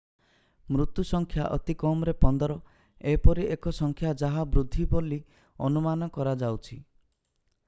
ମୃତ୍ୟୁ ସଂଖ୍ୟା ଅତି କମରେ 15 ଏପରି ଏକ ସଂଖ୍ୟା ଯାହା ବୃଦ୍ଧି ବୋଲି ଅନୁମାନ କରାଯାଉଛି